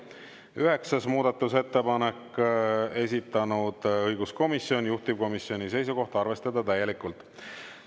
Üheksas muudatusettepanek, esitanud õiguskomisjon ja juhtivkomisjoni seisukoht on arvestada täielikult.